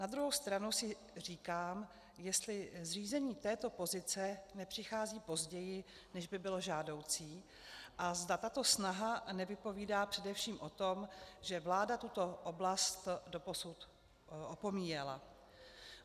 Na druhou stranu si říkám, jestli zřízení této pozice nepřichází později, než by bylo žádoucí, a zda tato snaha nevypovídá především o tom, že vláda tuto oblast doposud opomíjela.